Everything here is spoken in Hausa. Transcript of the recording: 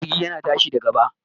Jirgi yana tashi da gaba